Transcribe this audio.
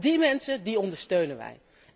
Die mensen ondersteunen wij.